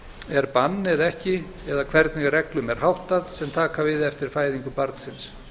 er bann eða ekki eða hvernig reglum er háttað sem taka við eftir fæðingu barnsins